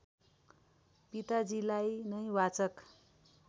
पिताजीलाई नै वाचक